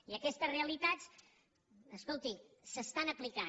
i aquestes realitats escolti s’estan aplicant